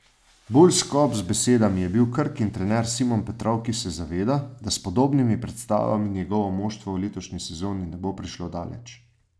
Bolj skop z besedami je bil Krkin trener Simon Petrov, ki se zaveda, da s podobnimi predstavami njegovo moštvo v letošnji sezoni ne bo prišlo daleč.